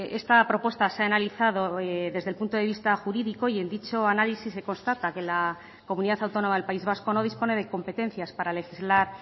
esta propuesta se ha analizado desde el punto de vista jurídico y en dicho análisis se constata que la comunidad autónoma del país vasco no dispone de competencias para legislar